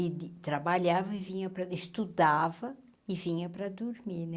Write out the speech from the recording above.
E de trabalhava e vinha para estudava e vinha para dormir, né?